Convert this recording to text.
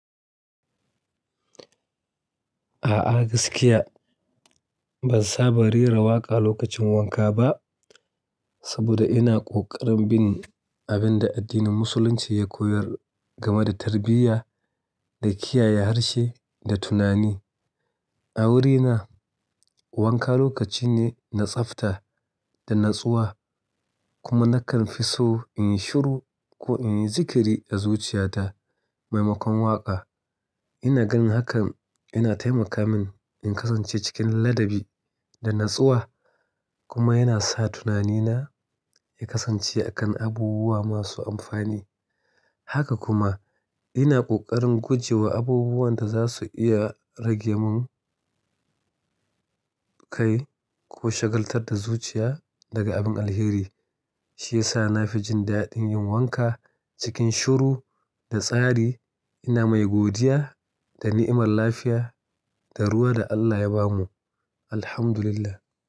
A'a gaskiya ban saba rera waƙa lokacin wanka ba, saboda ina ƙoƙarin bin abin da addinin musulunci ya koyar game da tarbiyya da kiyaye harshe da tunani. A wurina wanka lokaci ne na tsafta da natsuwa kuma nakan fi so in yi shuru ko in yi zikiri da zuciya ta maimakon waƙa. Ina ganin hakan yana taimaka min in kasance cikin ladabi da natsuwa kuma yana sa tunanina ya kasance a kan abubuwa masu amfani. Haka kuma ina ƙoƙarin guje wa abubuwan da za su iya rage mun kai ko shagaltar da zuciya daga abin alheri. Shi ya sa na fi jin daɗin yin wanka cikin shuru da tsari. Ina mai godiya da ni'imar lafiya da ruwa da Allah ya bamu, alhamdulillah.